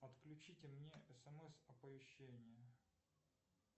отключите мне смс оповещение